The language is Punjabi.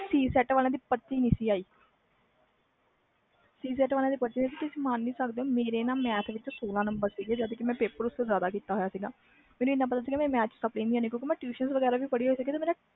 C set ਵਾਲਿਆਂ ਦੀ ਪਰਚੀ ਨਹੀਂ ਆਈ ਤੇ ਤੁਸੀ ਮਨ ਨਹੀਂ ਸਕਦੇ ਮੇਰੇ math ਵਿਚ ਸੋਲਾਂ ਨੰਬਰ ਸੀ ਜਦ ਕਿ ਮੈਂ ਪੇਪਰ ਉਸ ਤੋਂ ਜਿਆਦਾ ਕੀਤਾ ਹੋਇਆ ਸੀ ਮੈਨੂੰ ਪਤਾ ਸੀ ਕਿ math ਵਿਚ ਮੇਰੀ sapply ਨਹੀਂ ਆਨਿ